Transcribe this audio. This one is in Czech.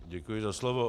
Děkuji za slovo.